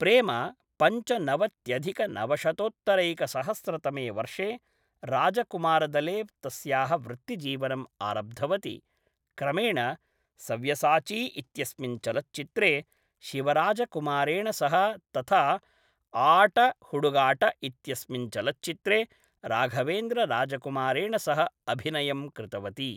प्रेमा पञ्चनवत्यधिकनवशतोत्तरैकसहस्रतमे वर्षे राजकुमारदले तस्याः वृत्तिजीवनम् आरब्धवती, क्रमेण सव्यसाची इत्यस्मिन् चलच्चित्रे शिवराजकुमारेण सह तथा आट हुडुगाट इत्यस्मिन् चलच्चित्रे राघवेन्द्रराजकुमारेण सह अभिनयं कृतवती।